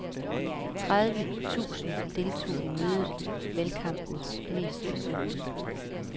Tredive tusind deltog i mødet, valgkampens mest besøgte.